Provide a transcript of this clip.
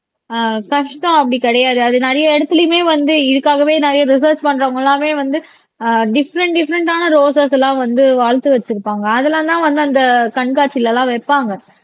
ஆஹ் கஷ்டம் அப்படி கிடையாது அது நிறைய இடத்துலயுமே வந்து இதுக்காகவே நிறைய ரிசெர்ச் பண்றவங்க எல்லாமே வந்து ஆஹ் டிபிபிறேன்ட் டிஃபரென்டான ரோஸஸ் எல்லாம் வந்து வளர்த்து வச்சிருப்பாங்க அதெல்லாம்தான் வந்து அந்த கண்காட்சியிலலாம் வைப்பாங்க